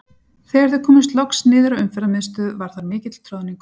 Þegar þau komust loks niður á Umferðarmiðstöð var þar mikill troðningur.